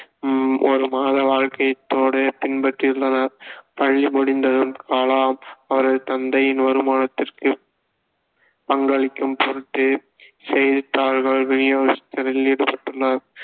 ஹம் ஒரு பின்பற்றியுள்ளனர் பள்ளி முடிந்ததும் கலாம் அவரது தந்தையின் வருமானத்திற்குப் பங்களிக்கும் பொருட்டு செய்தித்தாள்கள் விநியோகஸ்தரில் ஈடுபட்டுள்ளார்